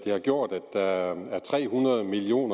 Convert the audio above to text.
har gjort at der er tre hundrede million